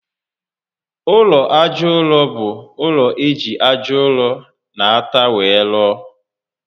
Ụlọ aja ụrọ bú ụlọ eji aja ụrọ na átá were rụọ